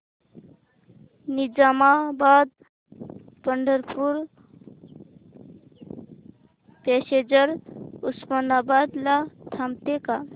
Nizamabad Pandharpur passenger Osmanabad ला थांबते का